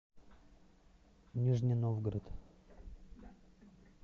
нижний новгород